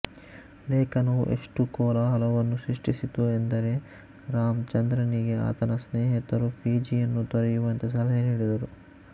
ಲೇಖನವು ಎಷ್ಟು ಕೋಲಾಹಲವನ್ನು ಸೃಷ್ಟಿಸಿತು ಎಂದರೆ ರಾಮ್ ಚಂದ್ರನಿಗೆ ಆತನ ಸ್ನೇಹಿತರು ಫಿಜಿಯನ್ನು ತೊರೆಯುವಂತೆ ಸಲಹೆ ನೀಡಿದರು